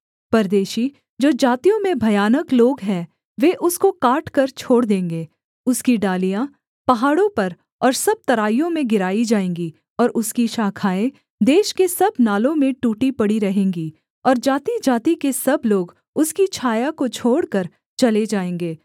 परदेशी जो जातियों में भयानक लोग हैं वे उसको काटकर छोड़ देंगे उसकी डालियाँ पहाड़ों पर और सब तराइयों में गिराई जाएँगी और उसकी शाखाएँ देश के सब नालों में टूटी पड़ी रहेंगी और जातिजाति के सब लोग उसकी छाया को छोड़कर चले जाएँगे